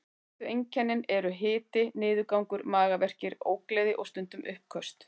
Helstu einkennin eru hiti, niðurgangur, magaverkir, ógleði og stundum uppköst.